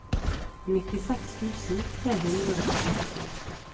nittiseks tusen tre hundre og sekstiåtte